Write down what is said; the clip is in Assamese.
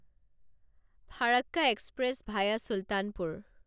Farakka express via Sultanpur